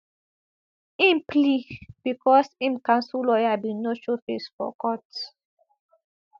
im plea becos im counsel lawyer bin no showface for court